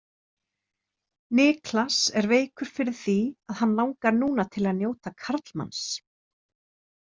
Niklas er veikur fyrir því að hann langar núna til að njóta karlmanns.